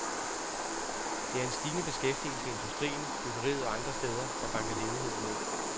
Det er en stigende beskæftigelse i industrien, byggeriet og andre steder, der banker ledigheden ned.